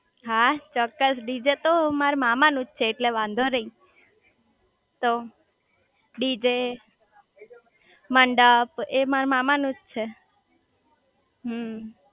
હા ચોક્કસ ડીજે તો મારા મામા નું જ છે એટલે વાંધો નઈ તો ડીજે મંડપ એ મારા મામા નુજ છે